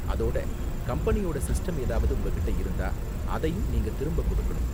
அதோட கம்பெனியோட சிஸ்டம் ஏதாவது உங்ககிட்ட இருந்தா அதையும் நீங்க திரும்ப கொடுக்கணும்.